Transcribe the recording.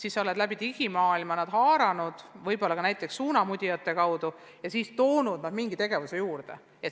Nad on olnud kaasatud digimaailma kaudu, võib-olla ka näiteks suunamudijate kaudu, ja nii on nad toodudki mingi tegevuse juurde.